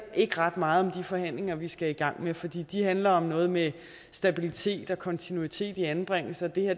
ikke ret meget om de forhandlinger vi skal i gang med for de de handler om noget med stabilitet og kontinuitet i anbringelsen det her